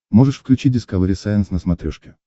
можешь включить дискавери сайенс на смотрешке